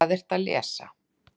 Hvað ertu að lesa?